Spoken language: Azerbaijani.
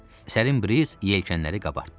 Sərin Briiz yelkənləri qabartdı.